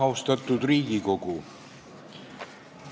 Austatud Riigikogu!